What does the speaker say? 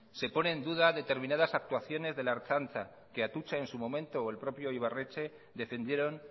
se pone en duda determinadas actuaciones de la ertzaintza que atutxa en su momento o el propio ibarretxe defendieron